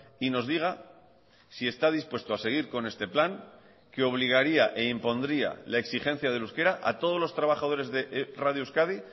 y nos diga si está dispuesto a seguir con este plan que obligaría e impondría la exigencia del euskera a todos los trabajadores de radio euskadi